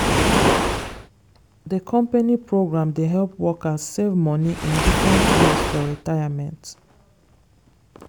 the company program dey help workers save money in different ways for retirement.